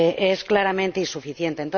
Es claramente insuficiente.